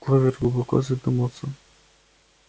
кловер глубоко задумалась